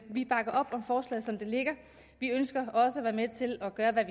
vi bakker op om forslaget som det ligger vi ønsker også at være med til at gøre hvad